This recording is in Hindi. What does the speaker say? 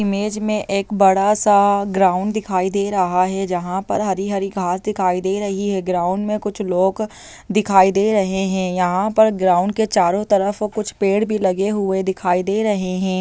इमेज में एक बड़ा सा ग्राउंड दिखाई दे रहा हैंजहाँ पर हरी हरी घास दिखाई दे रही है ग्राउंड में कुछ लोग दिखाई दे रहे हैं यहाँ पर ग्राउंड के चारों तरफ कुछ पेड़ भी लगे हुए दिखाई दे रहे हैं।